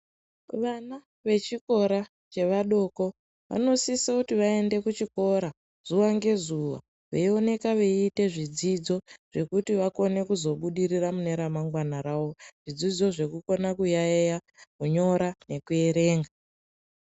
Vana vechikora chevadoko vanosisa kuti vaende kuchikora zuwa ngezuwa veionekwa veiita zvidzidzo zvekuti vakone kuzobudirira mune ramangwana rawo zvidzidzo zvekukonya kuyaiya , kunyora nekuerenga.